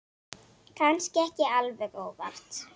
Kannski ekki alveg óvart.